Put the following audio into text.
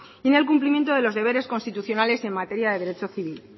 y en el cumplimiento de los deberes constitucionales en materia de derecho civil